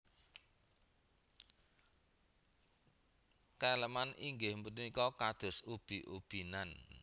Keleman inggih punika kados ubi ubi nan